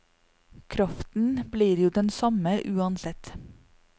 Kraften blir jo den samme uansett.